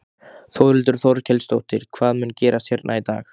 Þórhildur Þorkelsdóttir: Hvað mun gerast hérna í dag?